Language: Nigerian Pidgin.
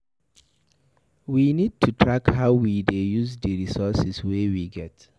We need to track how we dey use di resources wey we get